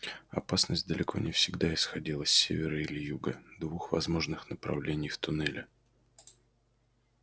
опасность далеко не всегда исходила с севера или юга двух возможных направлений в туннеле